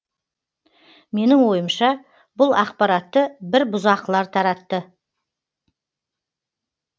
менің ойымша бұл ақпаратты бір бұзақылар таратты